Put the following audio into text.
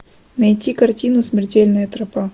найти картину смертельная тропа